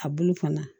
A bulu fana